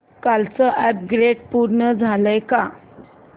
कालचं अपग्रेड पूर्ण झालंय का